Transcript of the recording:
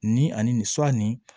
Nin ani nin nin